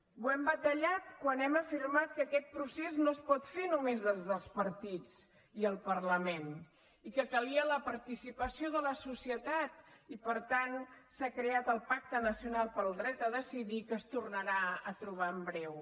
ho hem batallat quan hem afirmat que aquest procés no es pot fer només des dels partits i el parlament i que calia la participació de la societat i per tant s’ha creat el pacte nacional pel dret a decidir que es tornarà a trobar en breu